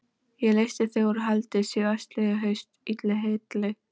Ég leysti þig úr haldi síðastliðið haust, illu heilli.